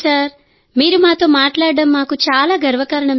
మీరు మాతో మాట్లాడటం మాకు చాలా గర్వకారణం సార్